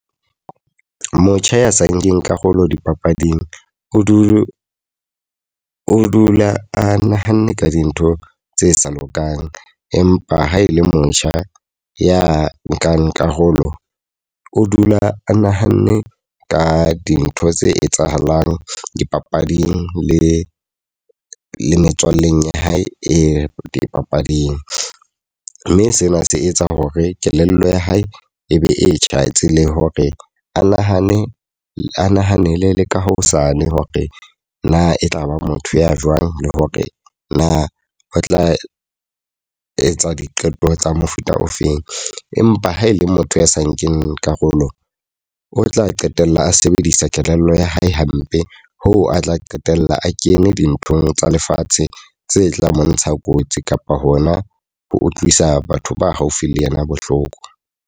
Motjha ya sa nkeng karolo dipapading, o du o dula a nahanne ka dintho tse sa lokang. Empa ha e le motjha ya nkang karolo, o dula a nahanne ka dintho tse etsahalang dipapading le le metswalleng ya hae e dipapading. Mme sena se etsa hore kelello ya hae e be e tjhatsi le hore a nahane a nahanele le ka hosane hore na e tlaba motho ya jwang le hore na ho tla etsa diqeto tsa mofuta ofeng. Empa ha e le motho ya sa nkeng karolo, o tla qetella a sebedisa kelello ya hae hampe. Hoo a tla qetella a kene dinthong tsa lefatshe tse tla mo ntsha kotsi kapo hona ho utlwisa batho ba haufi le yena bohloko.